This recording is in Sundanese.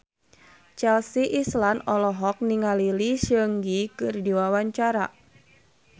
Chelsea Islan olohok ningali Lee Seung Gi keur diwawancara